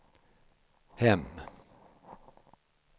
hem